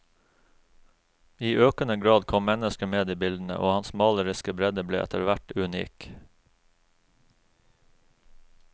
I økende grad kom mennesker med i bildene, og hans maleriske bredde ble etterhvert unik.